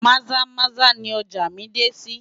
Maza-Maza ni ọjà mí dé sí.